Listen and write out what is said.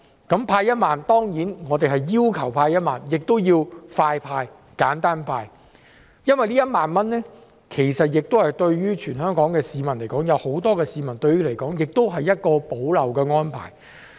對於派發1萬元，我們除要求派發1萬元外，也要求加快派、簡單派，因為這1萬元對全港很多市民來說，也是一項補漏的安排。